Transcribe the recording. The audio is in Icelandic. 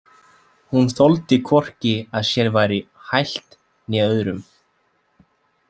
Hún þoldi hvorki að sér væri hælt né öðrum.